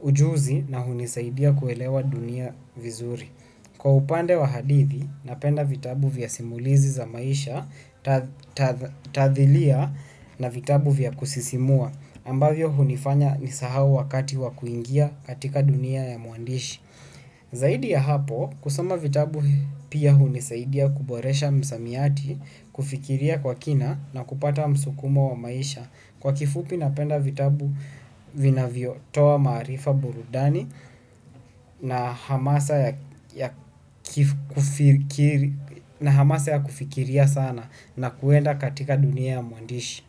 ujuzi na hunisaidia kuelewa dunia vizuri. Kwa upande wa hadithi, napenda vitabu vya simulizi za maisha, tathilia na vitabu vya kusisimua, ambavyo hunifanya nisahau wakati wakuingia katika dunia ya mwandishi. Zaidi ya hapo kusoma vitabu pia hunisaidia kuboresha msamiati kufikiria kwa kina na kupata msukumo wa maisha kwa kifupi napenda vitabu vinavyo toa maarifa burudani na hamasa ya kufikiria sana na kuenda katika dunia ya mwandishi.